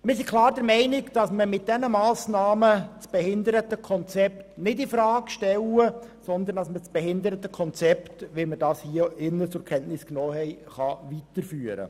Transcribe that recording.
Mit diesen Massnahmen stellen wir das Behindertenkonzept nicht infrage, vielmehr kann es so weitergeführt werden, wie wir es zur Kenntnis genommen haben.